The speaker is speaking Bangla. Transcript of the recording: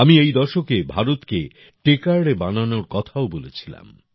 আমি এই দশকে ভারতকে তেছাদে বানানোর কথাও বলেছিলাম